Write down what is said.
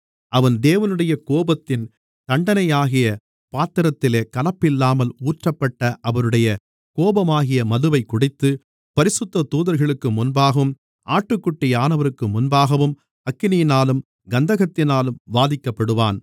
அவன் தேவனுடைய கோபத்தின் தண்டனையாகிய பாத்திரத்திலே கலப்பில்லாமல் ஊற்றப்பட்ட அவருடைய கோபமாகிய மதுவைக் குடித்து பரிசுத்த தூதர்களுக்கு முன்பாகவும் ஆட்டுக்குட்டியானவருக்கு முன்பாகவும் அக்கினியினாலும் கந்தகத்தினாலும் வாதிக்கப்படுவான்